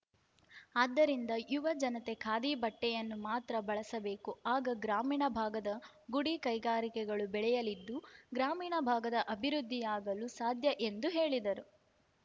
ಆದ್ದರಿಂದ ಯುವ ಜನತೆ ಖಾದಿ ಬಟ್ಟೆಯನ್ನು ಮಾತ್ರ ಬಳಸಬೇಕು ಆಗ ಗ್ರಾಮೀಣ ಭಾಗದ ಗುಡಿ ಕೈಗಾರಿಕೆಗಳು ಬೆಳೆಯಲಿದ್ದು ಗ್ರಾಮೀಣ ಭಾಗದ ಅಭಿವೃದ್ಧಿಯಾಗಲು ಸಾಧ್ಯ ಎಂದರು ಹೇಳಿದರು